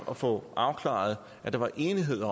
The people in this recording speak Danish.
at få afklaret at der var enighed